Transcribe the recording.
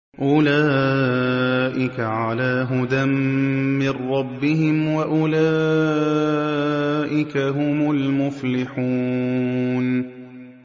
أُولَٰئِكَ عَلَىٰ هُدًى مِّن رَّبِّهِمْ ۖ وَأُولَٰئِكَ هُمُ الْمُفْلِحُونَ